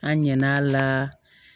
An ɲ'a la